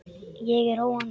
Ég er á róandi lyfjum.